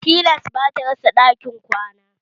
Tilas bata rasa ɗakin kwana